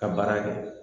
Ka baara kɛ